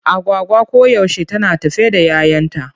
Agwagwa koyaushe tana tafe da 'yayanta.